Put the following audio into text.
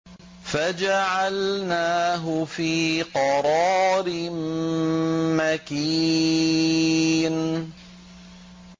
فَجَعَلْنَاهُ فِي قَرَارٍ مَّكِينٍ